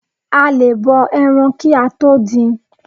A lè bọ ẹran kí a tó dín in